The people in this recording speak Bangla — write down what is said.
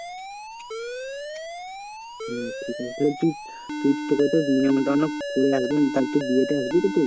হম ঠিক আছে তাহলে তুই, তুই তোকে তো নেমন্ত্রন করে আসবো তাহলে তুই বিয়েতে আসবি তো তুই?